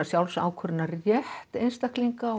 sjálfsákvörðunarrétt einstaklinga